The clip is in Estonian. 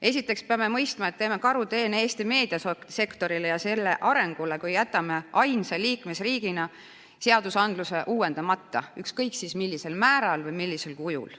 Esiteks peame mõistma, et teeme karuteene Eesti meediasektorile ja selle arengule, kui jätame ainsa liikmesriigina seaduse uuendamata, ükskõik millisel määral või millisel kujul.